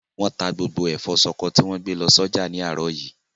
Wọ́n ta gbogbo ẹ̀fọ́ ṣọkọ tì wọ́n gbé lọ sọ́jà ní àárọ̀ yìí.